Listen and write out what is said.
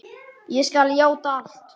Ég skal játa allt.